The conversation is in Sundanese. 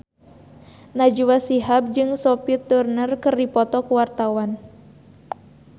Najwa Shihab jeung Sophie Turner keur dipoto ku wartawan